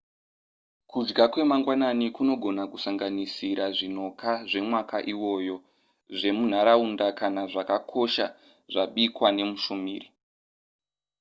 kudya kwemangwanani kunogona kusanganisira zvinoka zvemwaka iwoyo zvemunharaunda kana zvakakosha zvabikwa nemushumiri